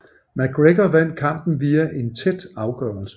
McGregor vandt kampen via en tæt afgørelse